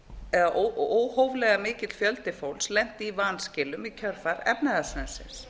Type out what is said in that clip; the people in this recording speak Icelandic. að óhóflega mikill fjöldi fólks lenti í vanskilum í kjölfar efnahagshrunsins